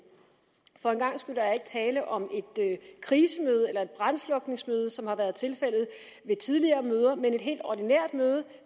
for en gangs skyld er der ikke tale om et krisemøde eller et brandslukningsmøde som det har været tilfældet ved tidligere møder men et helt ordinært møde